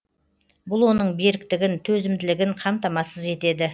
бұл оның беріктігін төзімділігін қамтамасыз етеді